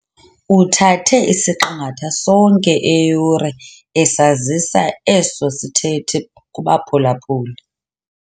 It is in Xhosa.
Uthathe isiqingatha sonke eyure esazisa eso sithethi kubaphulaphuli.